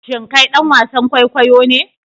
Shin kai dan wasan kwaikwayo ne?